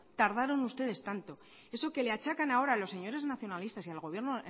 tardaron ustedes tanto eso que le achacan ahora a los señores nacionalistas y al gobierno